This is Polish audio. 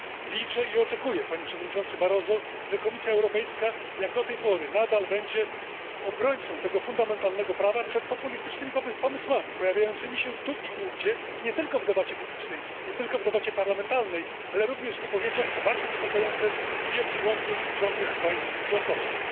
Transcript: Liczę i oczekuję, Panie Przewodniczący Barroso, że Komisja Europejska nadal będzie bronić tego fundamentalnego prawa przed populistycznymi pomysłami pojawiającymi się tu i ówdzie nie tylko w debacie publicznej, nie tylko w debacie parlamentarnej, ale również w wypowiedziach co bardzo niepokojące wielu członków rządów państw członkowskich.